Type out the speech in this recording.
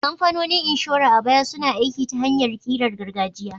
Kamfanonin inshora a baya suna aiki ta hanyar ƙirar gargajiya.